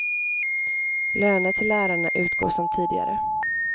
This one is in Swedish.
Löner till lärarna utgår som tidigare.